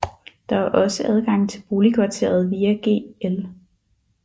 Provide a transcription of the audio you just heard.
Der er også adgang til boligkvarteret via Gl